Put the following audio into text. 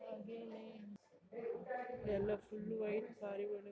ಹಾಗೇನೆ ಎಲ್ಲಾ full white ಪಾರಿವಾಳಗಳು.